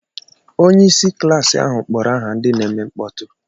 Onye isiklas ahụ kpọrọ aha ndị na-eme mkpọtụ.